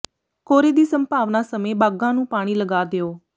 ਕੋਰੇ ਦੀ ਸੰਭਾਵਨਾ ਸਮੇਂ ਬਾਗ਼ਾਂ ਨੂੰ ਪਾਣੀ ਲਗਾ ਦਿਉ